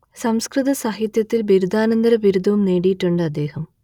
സംസ്കൃത സാഹിത്യത്തിൽ ബിരുദാനന്തര ബിരുദവും നേടിയിട്ടുണ്ട് അദ്ദേഹം